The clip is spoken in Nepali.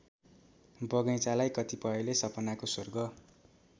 बगैंचालाई कतिपयले सपनाको स्वर्ग